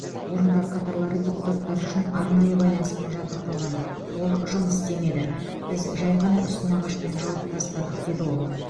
орындар қатарлары депутаттар үшін арнайы байланыспен жабдықталған ол жұмыс істемеді біз жай ғана үстін ағашпен жауып тастадық деді ол